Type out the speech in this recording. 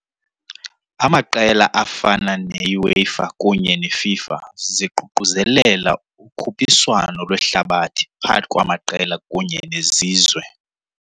Amaqela afana neUEFA kunye neFIFA ziququzelela ukhuphiswano lwehlabathi phakathi kwamaqela kunye nezizwe.